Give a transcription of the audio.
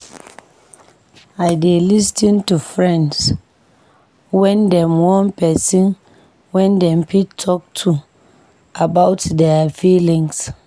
I dey lis ten to friends wen dem wan pesin wey dem fit talk to about dia feelings.